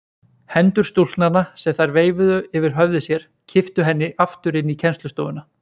Hendur stúlknanna sem þær veifuðu yfir höfði sér kipptu henni aftur inn í kennslustofuna.